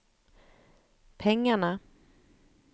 pengarna